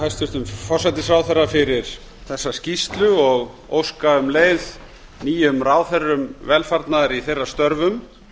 hæstvirtum forsætisráðherra fyrir þessa skýrslu og óska um leið nýjum ráðherrum velfarnaðar í þeirra störfum